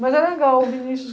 Mas é legal. Vinicius